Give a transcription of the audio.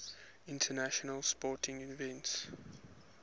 international sporting events